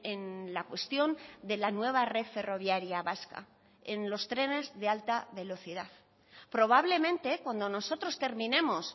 en la cuestión de la nueva red ferroviaria vasca en los trenes de alta velocidad probablemente cuando nosotros terminemos